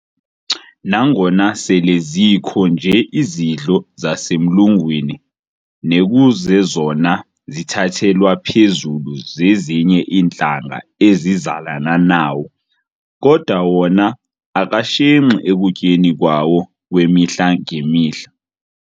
Nangona sele zikho nje izidlo zasemlungwini nekuzezona zithathelwa phezulu zezinye iintlanga ezizalana nawo, kodwa wona akashenxi ekutyeni kwawo kwemihla-ngemihla.